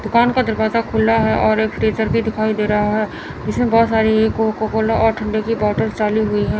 दुकान का दरवाजा खुला है और एक फ्रीजर भी दिखाई दे रहा है जिसमें बहुत सारी कोकाकोला और ठंडे की बॉटल्स डाली हुई है।